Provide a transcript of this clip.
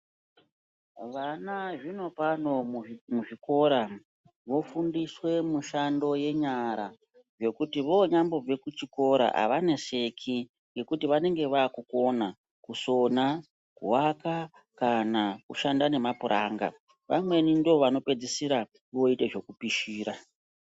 Vana zvinopano muzvikora vofundiswa mishando yenyara yekuti vanyambobva kuzvikora havaneseki. Ngekuti vanonga vakukona kusona, kuvaka kana kushanda nemapuranga. Vamweni ndivo vanopedzisira voita zvekupishira.